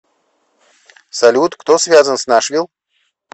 салют кто связан с нашвилл